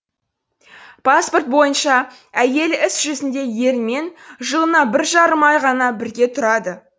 паспорт бойынша әйелі іс жүзінде ерімен жылына бір жарым ай ғана бірге тұрады